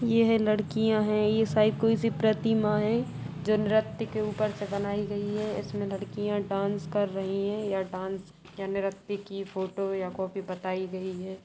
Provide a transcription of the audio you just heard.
ये है लड़कियाँ है यह शायद कोई सी प्रतिमा है जो नृत्य के ऊपर से बनायीं गयी हैं इसमें लड़कियां डांस कर रही हैं या डांस या नृत्य की फोटो या कॉपी बताई गयी है।